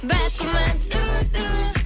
бәк күмән түрлі түрлі